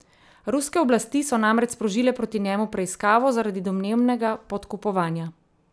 Ruske oblasti so namreč sprožile proti njemu preiskavo zaradi domnevnega podkupovanja.